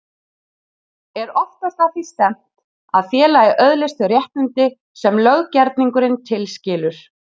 Er oftast að því stefnt að félagið öðlist þau réttindi sem löggerningurinn tilskilur.